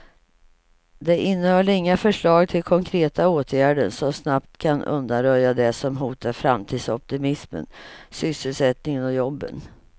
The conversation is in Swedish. Det innehöll inga förslag till konkreta åtgärder som snabbt kan undanröja det som hotar framtidsoptimismen, sysselsättningen och jobben.